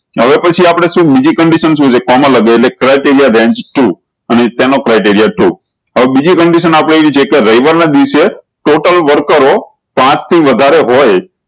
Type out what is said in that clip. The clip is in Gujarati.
હવે પછી આપળે શું બીજી condition શું છે કોમા લાગી એટલે criteria range ટુ અને શેનનો criteria range ટુ હવે બીજી condition આપળે હે છે કે રવિવાર ના દિવસે total worker પાંચ વધારે હોય